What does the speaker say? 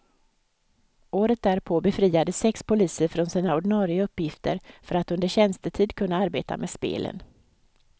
Året därpå befriades sex poliser från sina ordinare uppgifter för att under tjänstetid kunna arbeta med spelen.